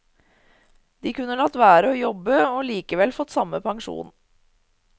De kunne latt være å jobbe og likevel fått samme pensjon.